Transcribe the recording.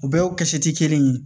U bɛɛ kɛsu ti kelen ye